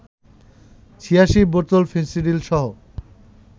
৮৬ বোতল ফেনসিডিলসহ